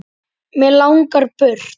Mig langar burt.